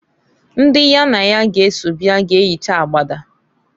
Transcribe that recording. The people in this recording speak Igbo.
Ndi ya na ya g'eso bịa g'eyicha agbada.